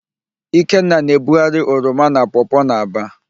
Ikenna na-ebugharị oroma na pọọpọọ n'Aba.